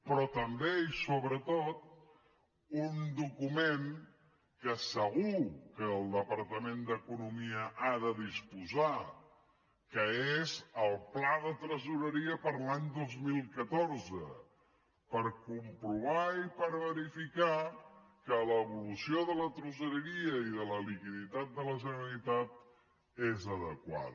però també i sobretot un document del qual segur que el departament d’economia ha de disposar que és el pla de tresoreria per a l’any dos mil catorze per comprovar i per verificar que l’evolució de la tresoreria i de la liquiditat de la generalitat és adequada